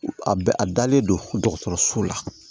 A bɛ a dalen don dɔgɔtɔrɔso la